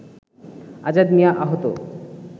আজাদ মিয়া আহত